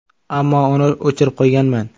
Ammo uni o‘chirib qo‘yganman.